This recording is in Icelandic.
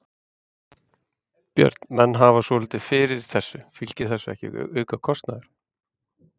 Björn: Menn hafa svolítið fyrir þessu, fylgir þessu ekki aukakostnaður?